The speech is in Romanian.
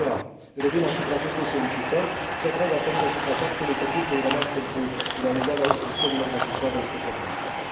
De aceea, revin asupra acestei solicitări și atrag atenția asupra faptului că timpul rămas pentru realizarea ajustărilor necesare este foarte scurt.